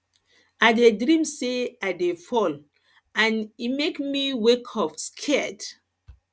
i dream say i dey fall and e e make me wake up scared